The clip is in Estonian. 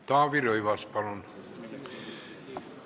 Taavi Rõivas, palun!